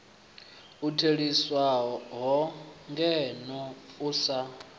u theliswaho ngeno u sa